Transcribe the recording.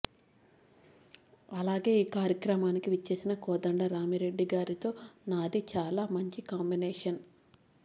అలాగే ఈ కార్యక్రమానికి విచ్చేసిన కోదండరామిరెడ్డి గారితో నాది చాలా మంచి కాంబినేషన్